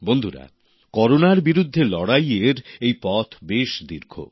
বন্ধুরা করোনার বিরুদ্ধে লড়াইয়ের এই পথ বেশ দীর্ঘ